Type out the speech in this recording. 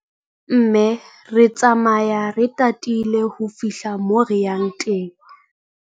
Mme re tsamaya re tatile ho fihla moo re yang teng.